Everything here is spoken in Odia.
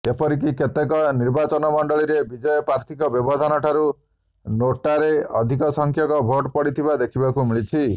ଏପରିକି କେତେକ ନିର୍ବାଚନମଣ୍ଡଳୀରେ ବିଜୟୀ ପ୍ରାର୍ଥୀଙ୍କ ବ୍ୟବଧାନଠାରୁ ନୋଟାରେ ଅଧିକ ସଂଖ୍ୟକ ଭୋଟ ପଡିଥିବା ଦେଖିବାକୁ ମିଳିଛି